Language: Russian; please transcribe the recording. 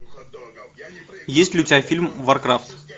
есть ли у тебя фильм варкрафт